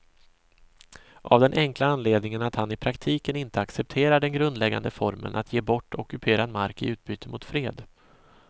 Av den enkla anledningen att han i praktiken inte accepterar den grundläggande formeln att ge bort ockuperad mark i utbyte mot fred.